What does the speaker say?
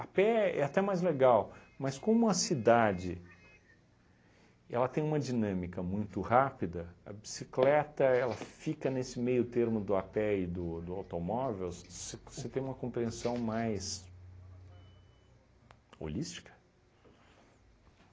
pé é até mais legal, mas como a cidade ela tem uma dinâmica muito rápida, a bicicleta ela fica nesse meio termo do a pé e do do automóvel, você você tem uma compreensão mais holística?